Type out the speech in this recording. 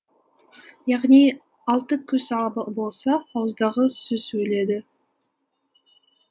яғни алты көз ала болса ауыздағы сөз өледі